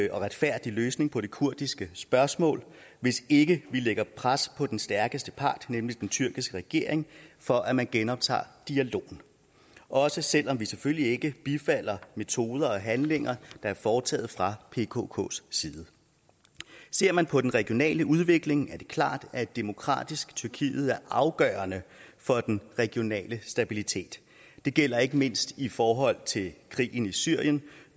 en retfærdig løsning på det kurdiske spørgsmål hvis ikke vi lægger pres på den stærkeste part nemlig den tyrkiske regering for at man genoptager dialogen også selv om vi selvfølgelig ikke bifalder metoder og handlinger der er foretaget fra pkks side ser man på den regionale udvikling er det klart at et demokratisk tyrkiet er afgørende for den regionale stabilitet det gælder ikke mindst i forhold til krigen i syrien